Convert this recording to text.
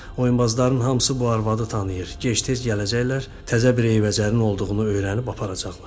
Oyunbazların hamısı bu arvadı tanıyır, gec-tez gələcəklər, təzə bir eybəcərin olduğunu öyrənib aparacaqlar.